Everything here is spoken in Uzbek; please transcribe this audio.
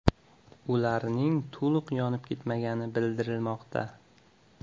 Ularning to‘liq yonib ketmagani bildirilmoqda.